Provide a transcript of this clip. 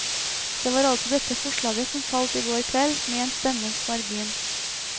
Det var altså dette forslaget som falt i går kveld, med én stemmes margin.